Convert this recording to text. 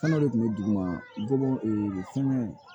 Fɛngɛw de kun bɛ dugu ma bɔ fɛngɛ